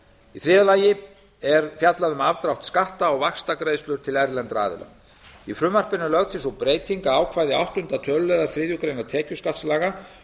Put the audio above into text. í þriðja lagi er fjallað um afdrátt skatta á vaxtagreiðslur til erlendra aðila í frumvarpinu er lögð til sú breyting að ákvæði áttunda tölulið þriðju grein tekjuskattslaga